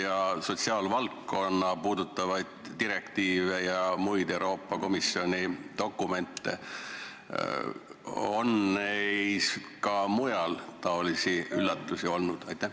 Ja kas sotsiaalvaldkonda puudutavates direktiivides ja muudes Euroopa Komisjoni dokumentides on ka muid üllatusi olnud?